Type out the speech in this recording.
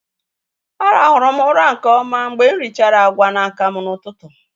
Á ràhụrụ m ụra nke ọma mgbe m richara agwa na akamu n'ụtụtụ